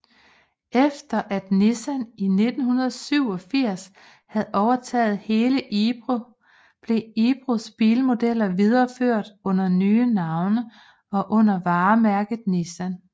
Efter at Nissan i 1987 havde overtaget hele Ebro blev Ebros bilmodeller videreført under nye navne og under varemærket Nissan